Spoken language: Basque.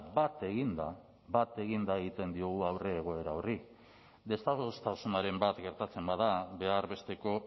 bat eginda bat eginda aurre egiten diogu egoera horri desadostasunaren bat gertatzen bada behar besteko